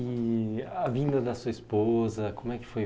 E a vinda da sua esposa, como é que foi?